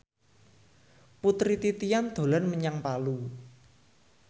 Putri Titian dolan menyang Palu